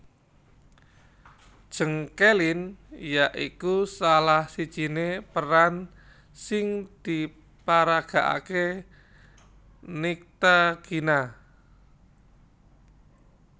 Jeng Kelin ya iku salah sijine peran sing diparagakake Nyctagina